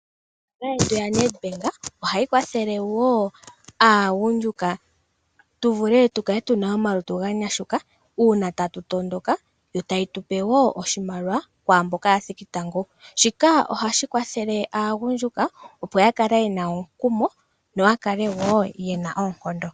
Ombaanga yetu ya Nedbank ohayi kwathele woo aagundjuka ,tu vule tu kale tuna omalutu ga nyashuka uuna tatu tondoka ,yo taye tu pe woo oshimaliwa kwaamboka ya thiki tango. Shika ohashi kwathele aagundjuka opo ya kale yena omukumo noya kale woo ye na oonkondo.